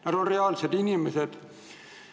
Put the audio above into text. Nad on reaalsed inimesed.